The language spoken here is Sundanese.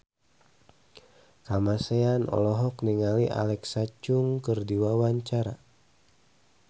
Kamasean olohok ningali Alexa Chung keur diwawancara